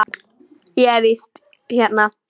Ég er í vist hérna.